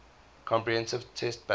comprehensive test ban